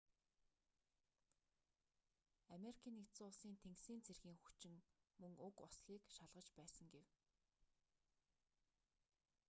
ану-ын тэнгисийн цэргийн хүчин мөн уг ослыг шалгаж байсан гэв